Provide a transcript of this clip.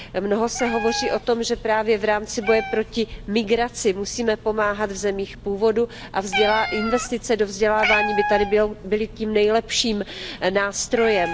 Mnoho se hovoří o tom, že právě v rámci boje proti migraci musíme pomáhat v zemích původu, a investice do vzdělávání by tady byly tím nejlepším nástrojem.